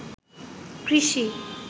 কৃষি